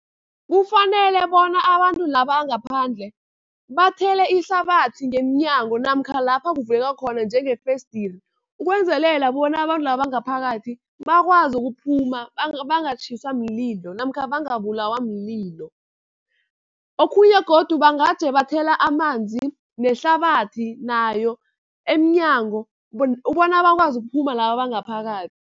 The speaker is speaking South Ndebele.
Kufanele bona abantu la bangaphandle bathele ihlabathi ngemnyango, namkha lapha kuvuleka khona njengefesidiri. Ukwenzelela bona abantu laba abangaphakathi bakwazi ukuphuma, bangatjhiswa mlilo namkha bangabulawa mlilo. Okhunye godu bangaje bathela amanzi nehlabathi nayo, emnyango bona bakwazi ukuphuma laba abangaphakathi.